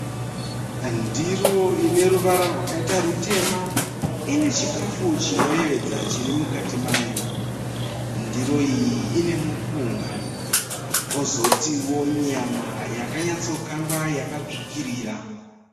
Ndiro ine ruvara rwakaita rutema ine chikafu chinoyevedza chiri mukati mayo. Ndiro iyi ine mupunga kozotiwo nyama yakanyatso kangwa yakatsvukirira.